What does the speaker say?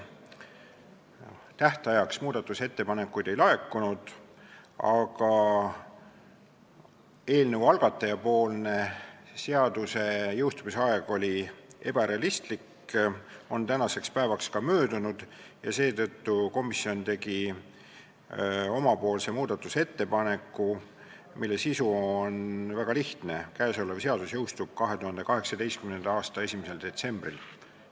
Tähtajaks muudatusettepanekuid ei laekunud, aga kuna eelnõu algataja pakutud seaduse jõustumise aeg oli ebarealistlik ning see on tänaseks päevaks ka möödunud, tegi komisjon muudatusettepaneku, mille sisu on väga lihtne: käesolev seadus jõustub 2018. aasta 1. detsembril.